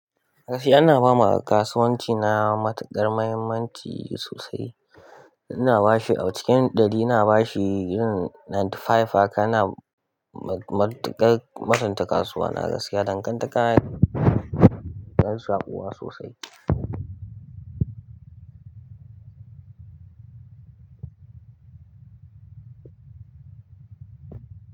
Gaskiya ina ba ma kasuwanci na matuƙar mahimmanci sosai. Ina bashi a cikin ɗari ina bashi yin ninety-five haka, ina matuƙar mutunta kasuwa. Na gaskiya dan kan takara yana saƙuwa sosai.